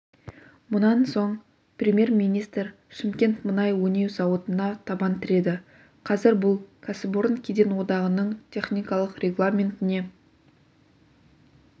мұнан соң премьер-министр шымкент мұнай өңдеу зауытына табан тіреді қазір бұл кәсіпорын кеден одағының техникалық регламентіне